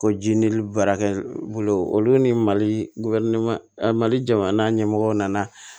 Ko ji ni lili baarakɛ bolo olu ni mali mali jamana ɲɛmɔgɔw nana